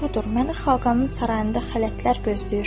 Doğrudur, məni xaqanın sarayında xələtlər gözləyir.